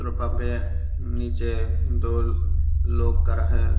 वहां पे नीचे दो लोग कर है।